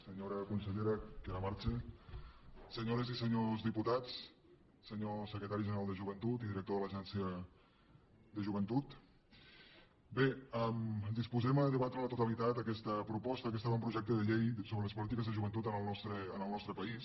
senyora consellera que ara marxa senyores i senyors diputats senyor secretari general de joventut i director de l’agència de joventut bé ens disposem a debatre a la totalitat aquesta proposta aquest avantprojecte de llei sobre les polítiques de joventut en el nostre país